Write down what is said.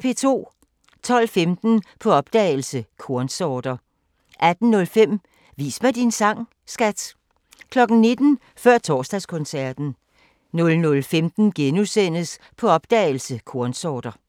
12:15: På opdagelse – Kornsorter 18:05: Vis mig din sang, skat! 19:00: Før Torsdagskoncerten 00:15: På opdagelse – Kornsorter *